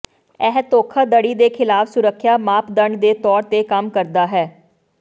ਇਹ ਧੋਖਾਧੜੀ ਦੇ ਖਿਲਾਫ ਸੁਰੱਖਿਆ ਮਾਪਦੰਡ ਦੇ ਤੌਰ ਤੇ ਕੰਮ ਕਰਦਾ ਹੈ